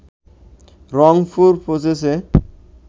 রংপুর পৌঁছেছে